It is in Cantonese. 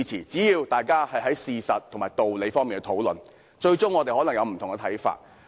只要大家基於事實和道理進行討論，縱使我們最終可能看法不同。